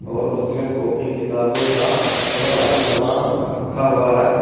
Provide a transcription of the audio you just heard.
और उसमें कॉपी किताबों का व आदि समान रखा हुआ है।